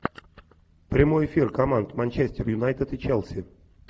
прямой эфир команд манчестер юнайтед и челси